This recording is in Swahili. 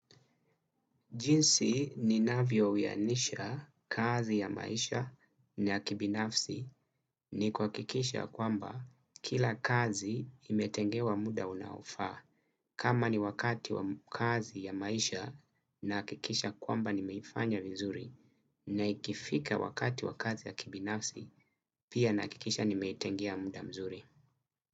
Jinsi ninavyoyanisha kazi ya maisha na kibinafsi ni kuhakikisha kwamba kila kazi imetengewa muda unaofaa. Kama ni wakati wa kazi ya maisha nahakikisha kwamba nimeifanya vizuri na ikifika wakati wa kazi ya kibinafsi pia nahakikisha nimeitengea muda mzuri.